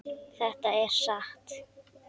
Þetta er satt!